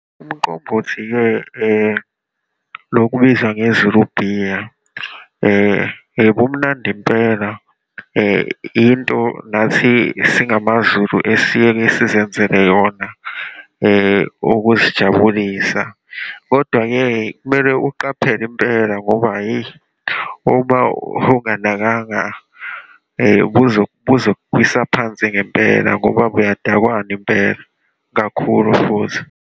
Umqombothi-ke lokubizwa ngeZulu beer, bumnandi impela. Into nathi singamaZulu esiyeke sizenzele yona ukuzijabulisa. Kodwa-ke kumele uqaphele impela ngoba, yeyi, uma ungasanakanga buzokuwisa phansi ngempela ngoba buyadakwana impela, kakhulu futhi.